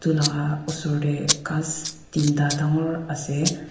edulaka osor tae ghas teenta dangor ase.